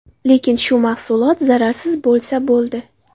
Lekin shu mahsulot zararsiz bo‘lsa, bo‘ldi.